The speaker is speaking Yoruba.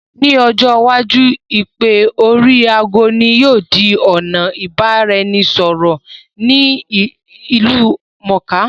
Ní ojọ́ iwájú, Ìpè oríi aago ní yóò di ọ̀nà ìbá-ra-ẹnì- sọ̀rọ̀ ìlú mọ̀ọ́ká